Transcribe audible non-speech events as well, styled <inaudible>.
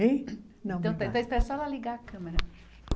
<unintelligible> Não. Então <unintelligible> espera só ela ligar a câmera.